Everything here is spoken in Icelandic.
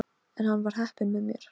En enn var heppnin með mér.